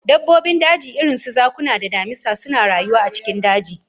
Dabbobin daji irin su zakuna da damisa suna rayuwa a cikin dajin